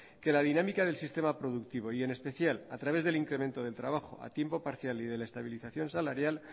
que la dinámica del sistema productivo y en especial a través del incremento del trabajo a tiempo parcial y de la estabilización salarial